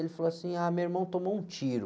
Ele falou assim, ah, meu irmão tomou um tiro.